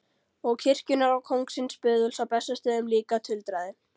Og kirkjunnar og kóngsins böðuls á Bessastöðum líka, tuldraði